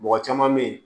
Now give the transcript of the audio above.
Mɔgɔ caman bɛ ye